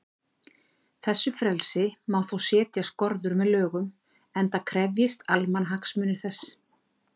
Þessu frelsi má þó setja skorður með lögum, enda krefjist almannahagsmunir þess.